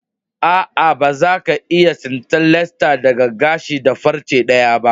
Aa, ba za ka iya tsinta latsa daga gashi da farce daya ba.